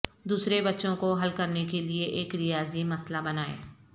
دوسرے بچوں کو حل کرنے کے لئے ایک ریاضی مسئلہ بنائیں